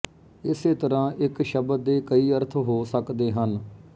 ਇਸੇ ਤਰ੍ਹਾਂ ਇੱਕ ਸ਼ਬਦ ਦੇ ਕਈ ਅਰਥ ਹੋ ਸਕਦੇ ਹਨ